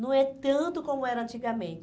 Não é tanto como era antigamente.